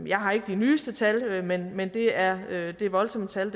jeg har ikke de nyeste tal men men det er det er voldsomme tal